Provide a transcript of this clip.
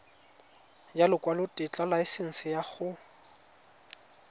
ya lekwalotetla laesense ya go